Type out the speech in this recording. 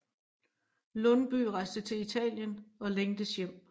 Lundbye rejste til Italien og længtes hjem